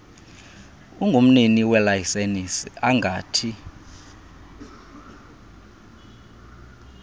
ungumnini welayisenisi angathi